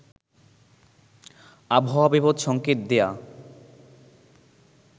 আবহাওয়া বিপদ সঙ্কেত দেয়া